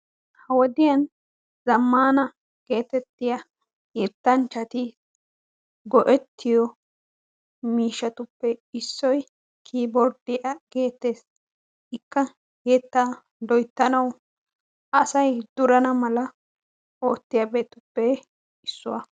ha wodiyan zamaana gididda yetanchchati go'ettiyo miishatuppe issuwa gididda kiiborddetta geetees, ikka asay durana mala oottiyaageetuppe issuwa.